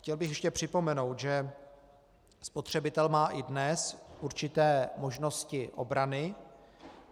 Chtěl bych ještě připomenout, že spotřebitel má i dnes určité možnosti obrany.